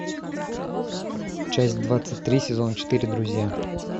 часть двадцать три сезона четыре друзья